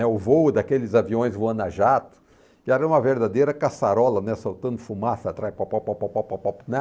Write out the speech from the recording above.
O voo daqueles aviões voando a jato, que era uma verdadeira caçarola, né soltando fumaça atrás. Pôpôpôpôpô, não